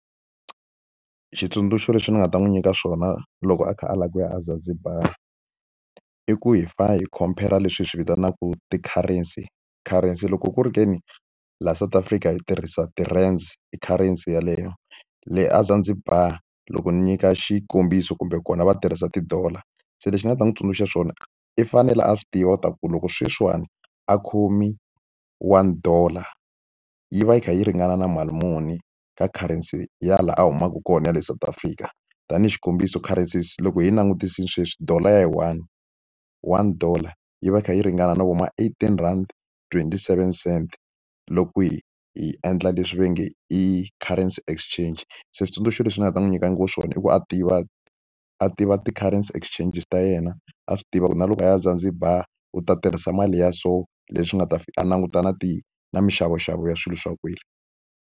Switsundzuxo swi ni nga ta n'wi nyika swona loko a kha a lava ku ya a Zanzibar i ku hi fa hi compare leswi hi swi vitanaka ti-currency currency loko ku ri ke ni laha South Africa hi tirhisa ti-rands i currency yeleyo le a Zanzibar loko ni nyika xikombiso kumbe kona va tirhisa ti-dollar se lexi ni nga ta n'wi tsundzuxa swona i fanele a swi tiva u ta ku loko sweswiwani a khomi one dollar yi va yi kha yi ringana na mali muni ka currency ya laha a humaka kona ya le South Africa tanihi xikombiso currencies loko hi langutise sweswi dollar ya yi one one dollar yi va yi kha yi ringana na vo ma eighteen rhandi twenty seven cent loko kwihi hi endla leswi va nge i currency exchange switsundzuxo leswi ni nga ta n'wi nyika ngopfu swona i ku a tiva a tiva ti-currency exchanges ta yena a swi tiva ku na loko a ya eZanzibar u ta tirhisa mali ya so leswi nga ta a languta na ti na mixavoxavo ya swilo swa kwele.